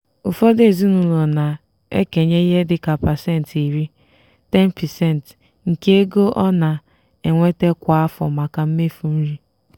ụfọdụ ezinaụlọ na-ekenye ihe dịka pasentị iri (10%) nke ego ọ na-enweta kwa afọ maka mmefu nri.